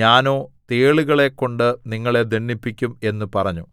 ഞാനോ തേളുകളെക്കൊണ്ട് നിങ്ങളെ ദണ്ഡിപ്പിക്കും എന്ന് പറഞ്ഞു